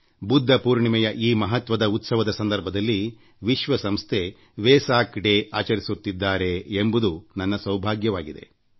ಬುದ್ಧ ಪೌರ್ಣಮಿಯ ಈ ಮಹತ್ವದ ಉತ್ಸವದ ಸಂದರ್ಭದಲ್ಲಿ ವಿಶ್ವ ಸಂಸ್ಥೆ ವೇಸಕ್ ದಿನ ಆಚರಿಸುತ್ತಿದ್ದಾರೆ ಅದರಲ್ಲಿ ನಾನಿರುತ್ತೇನೆ ಎಂಬುದು ನನ್ನ ಸೌಭಾಗ್ಯವಾಗಿದೆ